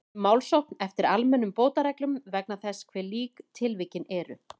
um málsókn eftir almennum bótareglum vegna þess hve lík tilvikin eru.